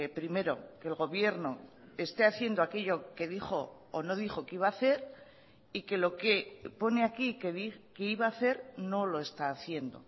primero que el gobierno esté haciendo aquello que dijo o no dijo que iba a hacer y que lo que pone aquí que iba a hacer no lo está haciendo